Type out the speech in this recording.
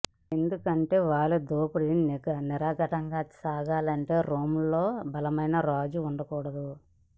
ఎందుకంటే వాళ్ల దోపిడీ నిరాఘంటంగా సాగాలంటే రోమ్లో బలమైన రాజు వుండకూడదు